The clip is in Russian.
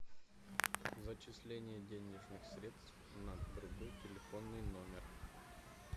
зачисление денежных средств на другой телефонный номер